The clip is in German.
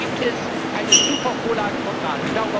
Und da gibt es eine super Vorlage vom Rat.